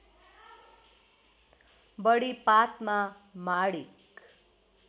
बढी पातमा माणिक